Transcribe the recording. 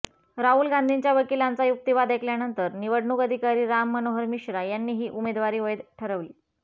राहुल गांधींच्या वकिलांचा युक्तीवाद ऐकल्यानंतर निवडणूक अधिकारी राम मनोहर मिश्रा यांनी ही उमेदवारी वैध ठरवली